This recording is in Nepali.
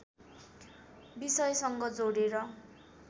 विषयसँग जोडेर